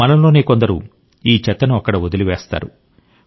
మనలోనే కొందరు ఈ చెత్తను అక్కడ వదిలివేస్తారు